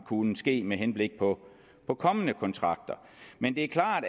kunne ske med henblik på på kommende kontrakter men det er klart